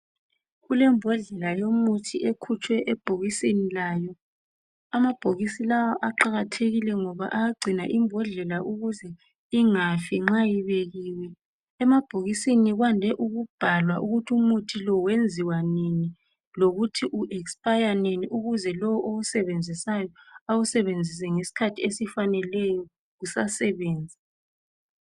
kulembodlela yomuthi ekhutshwe ebhokisini layo amabhokisi lawa aqakathekile ngoba ayagcina imbodlela ukuze ingafi nxa ibekiwe emabhokisini kwande ukubhalwa ukuthi umuthi lo wenziwa nini lokuthi u expire nini ukuze lo owusebenzisayo awusebenzise ngesikhathi esifaneleyo usasebenza